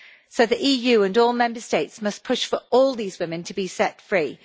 So the EU and all Member States must push for all these women to be set free.